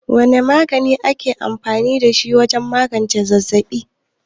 Wane magani ake amfani da shi wajen magance zazzaɓi?